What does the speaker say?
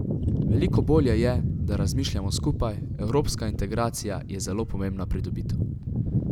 Veliko bolje je, da razmišljamo skupaj, evropska integracija je zelo pomembna pridobitev.